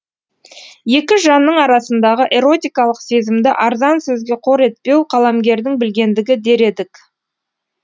екі жанның арасындағы эротикалық сезімді арзан сөзге қор етпеу қаламгердің білгендігі дер едік